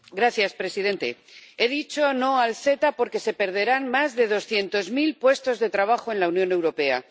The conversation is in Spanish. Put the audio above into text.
Señor presidente, he dicho no al CETA porque se perderán más de doscientos mil puestos de trabajo en la Unión Europea.